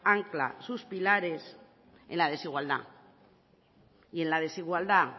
ancla sus pilares en la desigualdad y en la desigualdad